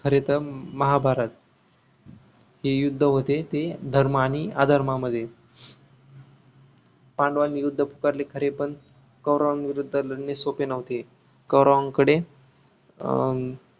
खरे तर महाभारत हे युद्ध होते ते धर्म आणि अधर्मा मध्ये पांडवांन विरुद्ध पुकारले खरे पण कौरवांविरुद्ध लढणे सोपे नव्हते कौरवांकडे अं